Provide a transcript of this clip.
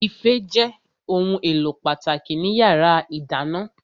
Ife jẹ́ ohun èlò pàtàkì ní yàrá ìdáná